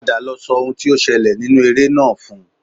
Padà lọ sọ ohun tí ó ṣẹlẹ̀ nínú eré náà fún un